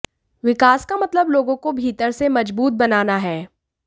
विकास का मतलब लोगों को भीतर से मज़बूत बनाना है